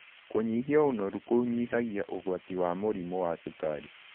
Kũnyĩhĩa ũnorũ kũnyĩhagĩa ũgwatĩ wa mũrĩmũ wa cũkarĩ